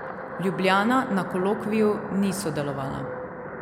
Ljubljana na kolokviju ni sodelovala.